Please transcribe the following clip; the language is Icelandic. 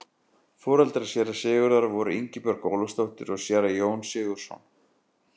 foreldrar séra sigurðar voru ingibjörg ólafsdóttir og séra jón sigurðsson